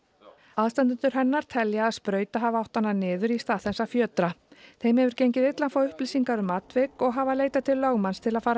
aðstandendur hennar telja að sprauta hafi átt hana niður í stað þess að fjötra þeim hefur gengið illa að fá upplýsingar um atvik og hafa leitað til lögmanns til að fara